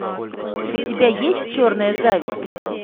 у тебя есть черная зависть